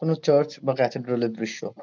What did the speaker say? কোনো চার্চ বা ক্যাথেড্রাল -এর দৃশ্য ।